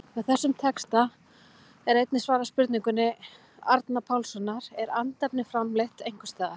Með þessum texta er einnig svarað spurningu Andra Pálssonar, Er andefni framleitt einhvers staðar?